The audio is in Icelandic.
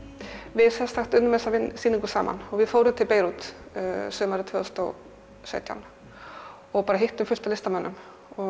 við unnum þessa sýningu saman við fórum til Beirút sumarið tvö þúsund og sautján og hittum fullt af listamönnum